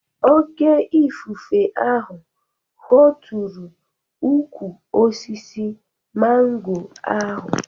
Oké ifufe ahụ hootụrụ ukwu osisi mango ahụ